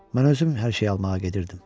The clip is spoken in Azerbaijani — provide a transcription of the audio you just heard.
Mən özüm hər şeyi almağa gedirdim.